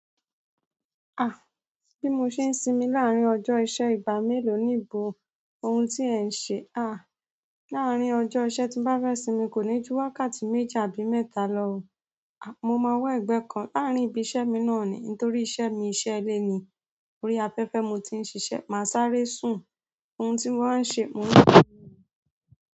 Bí mo ṣe ń sinmi láàrín ọjọ́ iṣẹ́ ìgbà mélòó níbo ohun tí ẹ ń ṣe. Láàrín ọjọ́ iṣẹ́ tí bá fẹ́ sinmi kò ní ju wákàtí méje àbí mẹ́ta lọ o. Mo máa wa ẹ̀gbẹ́ kan láàrín ibi iṣẹ́ mi náà ni. Nítorí iṣẹ́ mi iṣẹ́ ilé ni. Orí afẹ́fẹ́ mo ti i ṣiṣẹ́, mà sáré sùn. Ohun ti mo maa n ṣe.